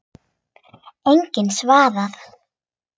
Enginn svarar.